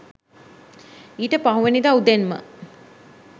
ඊට පහුවෙනිදා උදෙන්ම